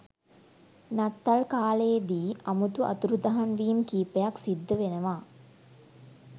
නත්තල් කාලෙදී අමුතු අතුරු දහන්වීම් කීපයක් සිද්ධ වෙනවා.